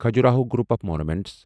Khajuraho group of monuments